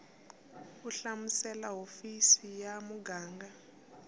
u hlamusela hofisi ya muganga